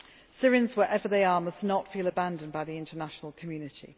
Army. Syrians wherever they are must not feel abandoned by the international community.